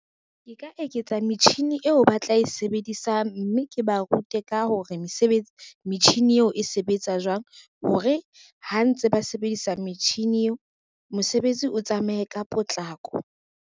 Ke ka eketsa metjhini eo ba tla sebedisang, mme ke ba rute ka hore metjhini eo e sebetsa jwang hore ha ntse ba sebedisa metjhini eo, mosebetsi o tsamaye ka potlako.